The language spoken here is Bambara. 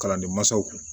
Kalandenmansaw kun